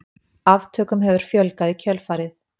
Aftökum hefur fjölgað í kjölfarið.